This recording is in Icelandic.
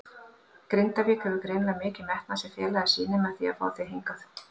Grindavík hefur greinilega mikinn metnað sem félagið sýnir með því að fá þig hingað?